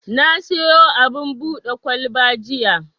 Na siyo abin buɗe kwalba jiya.